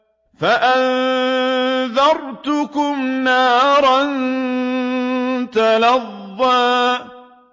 فَأَنذَرْتُكُمْ نَارًا تَلَظَّىٰ